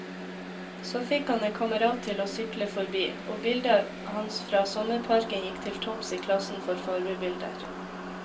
Så fikk han en kamerat til å sykle forbi, og bildet hans fra sommerparken gikk til topps i klassen for farvebilder.